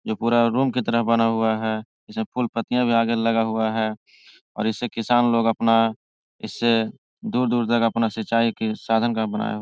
जो पूरा रूम की तरह बना हुआ है इसमें फूल-पत्तियां भी आगे लगा हुआ है और इसे किसान लोग अपना इसे दूर-दूर तक अपना सिंचाई के साधन घर बनाया हुआ --